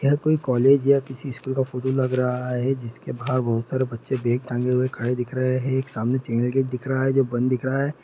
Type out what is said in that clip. यह कोई कॉलेज है किसी स्कूल का फोटो लग रहा है जिसके बाहर बहुत सारे बच्चे बैग टांगे हुए खड़े दिख रहे हैं एक सामने चैनल गेट दिख रहा है जो बंद दिख रहा है।